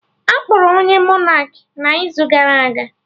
Akpọrọ onye Monak n'izu gara aga